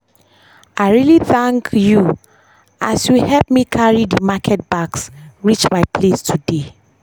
i really thank you as you help me carry dey market bags reach my place today.